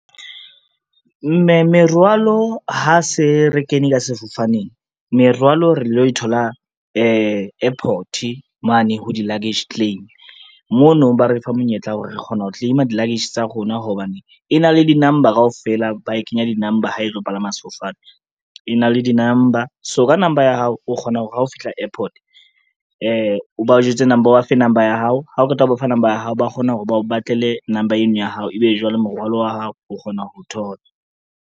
Merwalo ha se re kene ka sefofaneng, merwalo re lo thola airport mane ho di-luggage claim. Mono ba re fa monyetla wa hore re kgona ho claim-a di-luggage tsa rona hobane, e na le di-number kaofela ba e kenya di-number ha e tlo palama sefofane, e na le di-number. So ka number ya hao, o kgona hore ha o fihla airport o ba fe number ya hao ha o qeta ho ba fa number ya hao, ba kgona hore ba o batlele number eno ya hao ebe jwale morwalo wa hao o kgona ho o thola.